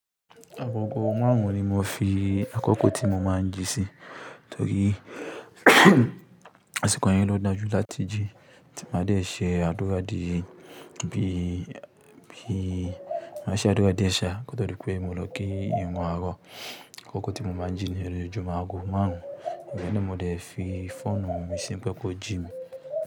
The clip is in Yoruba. Agogo márùn-ún ni mo fi àkókò tí mo máa ń jí sí, torí àsìkò yẹn ló da jù láti jí tí maa dẹ ṣe àdúrà di bi, bi máa ṣe àdúrà díẹ̀ ṣáá, kó tó dípè mo lọ kí ìrun àárọ̀. Àkókò tí mo máa ń jí niyẹn lojojúmo ágo márùn-ún, ibẹ́ẹ̀ ni mo dẹ̀ fi fóònù mi sí pe ko ji mi.